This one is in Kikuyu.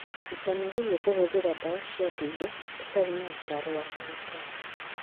Ndũkanagerie kũhũthĩra ndawa cia ndũire ũtarĩ na ũtaaro wa ndagĩtarĩ.